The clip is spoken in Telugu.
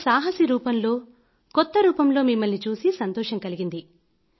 ఒక సాహసి రూపంలో కొత్త రూపంలో మిమ్మల్ని చూసి సంతోషం కలిగింది